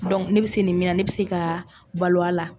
ne bɛ se nin min na ne bɛ se ka balo a la.